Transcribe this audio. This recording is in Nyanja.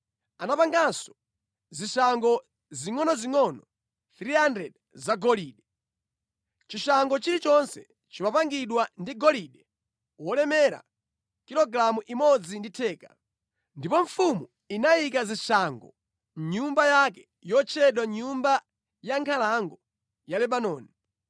Anapanganso zishango zingʼonozingʼono 300 zagolide. Chishango chilichonse chimapangidwa ndi golide wolemera kilogalamu imodzi ndi theka. Ndipo mfumu inayika zishangozo mʼnyumba yake yotchedwa Nyumba ya Nkhalango ya Lebanoni.